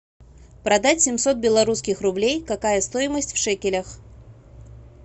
продать семьсот белорусских рублей какая стоимость в шекелях